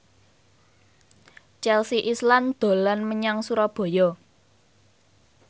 Chelsea Islan dolan menyang Surabaya